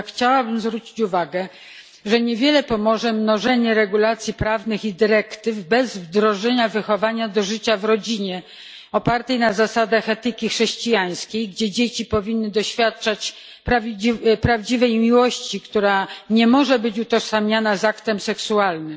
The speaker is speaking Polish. Jednak chciałabym zwrócić uwagę, że niewiele pomoże mnożenie regulacji prawnych i dyrektyw bez wdrożenia wychowania do życia w rodzinie opartego na zasadach etyki chrześcijańskiej, gdzie dzieci powinny doświadczać prawdziwej miłości, która nie może być utożsamiana z aktem seksualnym.